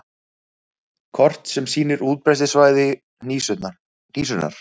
Kort sem sýnir útbreiðslusvæði hnísunnar.